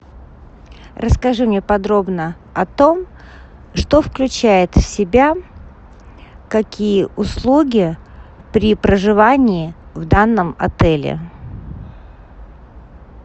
расскажи мне подробно о том что включает в себя какие услуги при проживании в данном отеле